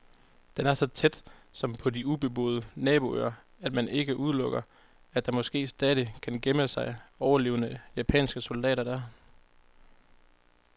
Den er så tæt, som på de ubeboede naboøer, at man ikke udelukker, at der måske stadig kan gemme sig overlevende japanske soldater der.